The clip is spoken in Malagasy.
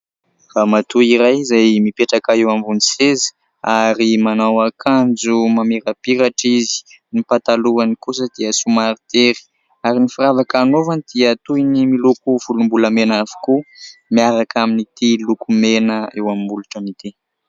Ramatoa iray izay mipetraka eo ambony seza ary manao akanjo mamirapiratra izy, ny patalohany kosa dia somary tery ary ny firavaka anaovany dia toy ny miloko volombolamena avokoa miaraka amin'ity lokomena eo amin'ny molotran'ity .